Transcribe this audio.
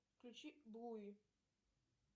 включи блуи